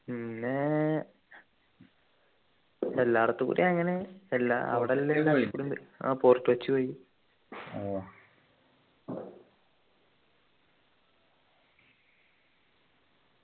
പിന്നെ എല്ലായിടത്തും കൂടി അങ്ങനെ എല്ലാ അവിടെ എല്ലാം ആഹ് fort Kochi കൊച്ചി പോയി